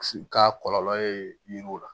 Ka kɔlɔlɔ ye yiriw la